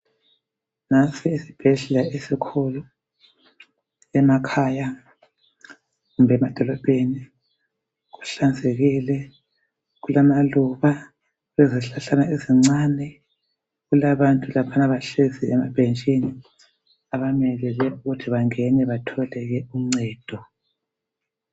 Nansi esibhedlela esikhulu emakhaya kumbe emadolobheni. Kuhlanzekile. Kulamaluba lezihlahlana ezincane. Kulabantu laphana bahlezi emabhentshini abamelele ukuthi bangene batholeke uncedo.